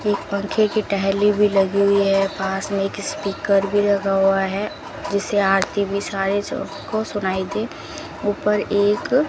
एक पंखे की टहली भी लगी हुई है पास में एक स्पीकर भी लगा हुआ है जिसे आरती भी सारे सबको सुनाई दे ऊपर एक --